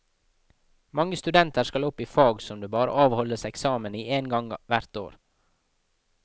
Mange studenter skal opp i fag som det bare avholdes eksamen i én gang hvert år.